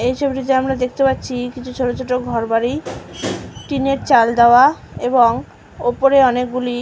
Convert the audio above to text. এই ছবিটা আমরা দেখতে পাচ্ছি কিছু ছোট ছোট ঘর বাড়ি। টিনের চাল দেওয়া এবং ওপরে অনেকগুলি--